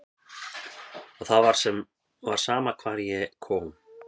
Og það var sama hvar ég kom.